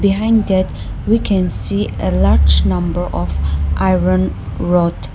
Behind that we can see a large number of iron rod